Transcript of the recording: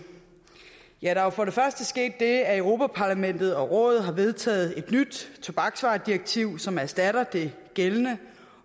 ja der er jo for det første sket det at europa parlamentet og rådet har vedtaget et nyt tobaksvaredirektiv som erstatter det gældende